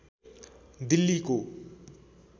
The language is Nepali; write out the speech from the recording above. दिल्लीको